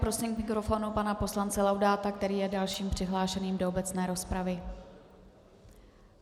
Prosím k mikrofonu pana poslance Laudáta, který je dalším přihlášeným do obecné rozpravy.